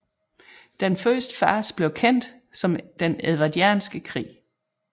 Den første fase blev kendt som den edvardianske krig